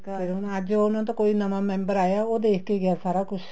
ਫ਼ੇਰ ਹੁਣ ਅੱਜ ਉਹ ਉਹਨਾ ਦਾ ਕੋਈ ਨਵਾਂ member ਆਇਆ ਉਹ ਦੇਖਕੇ ਗਿਆ ਸਾਰਾ ਕੁੱਛ